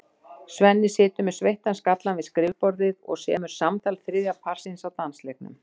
Svenni situr með sveittan skallann við skrifborðið og semur samtal þriðja parsins á dansleiknum.